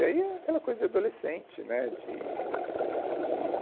E aí é aquela coisa de adolescente, né? De, de